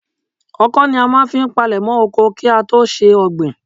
Ọkọ́ ni a máa ń fi palèmọ́ oko kí á tó ṣe ọ̀gbìn.